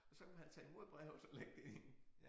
Og så kunne han tage imod brevet og lægge det ind